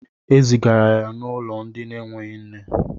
Ezigara ya n'ulo ndi n'eweghi nne